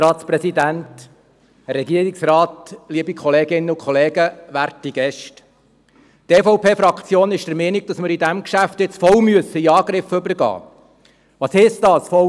Die EVP-Fraktion ist der Meinung, dass wir in diesem Geschäft jetzt voll zum Angriff übergehen müssen.